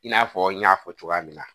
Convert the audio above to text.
I n'a fɔ n y'a fɔ cogoya min na